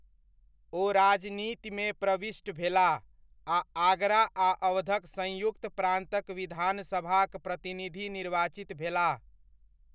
ओ राजनीतिमे प्रविष्ट भेलाह आ आगरा आ अवधक संयुक्त प्रान्तक विधानसभाक प्रतिनिधि निर्वाचित भेलाह।